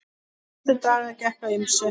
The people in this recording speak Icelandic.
Næstu daga gekk á ýmsu.